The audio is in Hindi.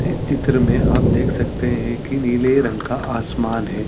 इस चित्र में आप देख सकते है कि नीले रंग का आसमान हैं ।